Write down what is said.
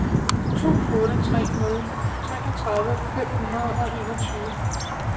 to otte tre nul treogtredive fem hundrede og enogtyve